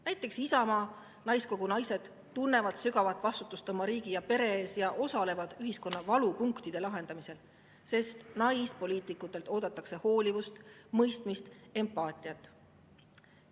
Näiteks Isamaa naiskogu naised tunnevad sügavat vastutust oma riigi ja pere ees ja osalevad ühiskonna valupunktide lahendamisel, sest naispoliitikutelt oodatakse hoolivust, mõistmist, empaatiat.